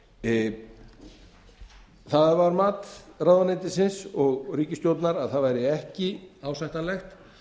húsnæðislánum það var mat ráðuneytisins og ríkisstjórnar að það væri ekki ásættanlegt